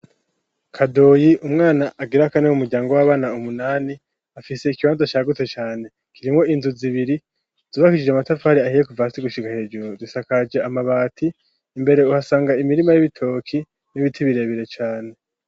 kadoyi umwana agira kane mu muryango w'abana umunani afise ikibanta cyagutse cyane kirimo inzu zibiri zubakisije amatavari ahiye kuvasi gushiga hejuru zisakaje amabati imbere uhasanga imirima y'ibitoki n'ibiti birebere cyane